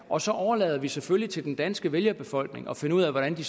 og så overlader vi selvfølgelig til den danske vælgerbefolkning at finde ud af hvordan de